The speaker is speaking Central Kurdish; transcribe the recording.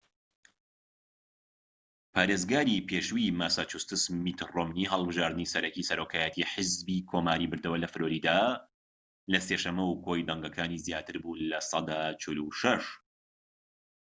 پارێزگاری پێشووی ماساچوستس میت ڕۆمنی هەڵبژاردنی سەرەکیی سەرۆکایەتیی حیزبی کۆماریی بردەوە لە فلۆریدا، لە سێ شەمە و کۆی دەنگەکانی زیاتر بوو لە سەدا ٤٦